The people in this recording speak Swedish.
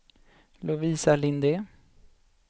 Lovisa Linde